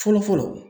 Fɔlɔ fɔlɔ